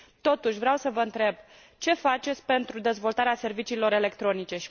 Totuși, vreau să vă întreb ce faceți pentru dezvoltarea serviciilor electronice.